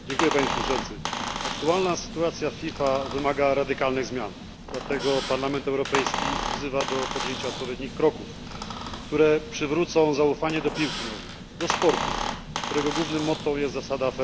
Panie Przewodniczący! Aktualna sytuacja w FIFA wymaga radykalnych zmian, dlatego Parlament Europejski wzywa do podjęcia odpowiednich kroków, które przywrócą zaufanie do piłki nożnej, do sportu, którego głównym motto jest zasada